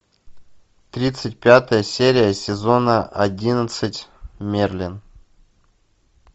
тридцать пятая серия сезона одиннадцать мерлин